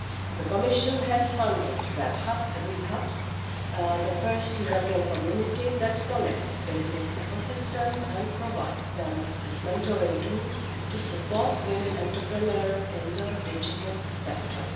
The Commission has funded web hubs, the first European community that connects business ecosystems and provides them with mentoring tools to support women entrepreneurs in the digital sector.